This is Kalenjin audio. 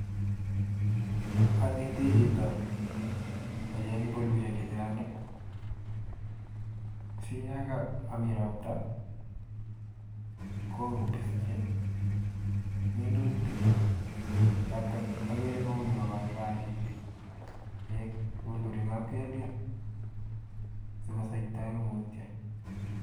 anetii chito kocheng mbulushek chechang ii. siyamami ropta kopischin minutikchotok agere kuni kopaipai .pek kopune kapkelyen sigosaita komutyo.